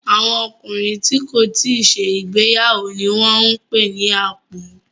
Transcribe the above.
Àwọn ọkùnrin tí kò tíì ṣe ìgbéyàwó ni wọ́n ń pè ní àpọ́n.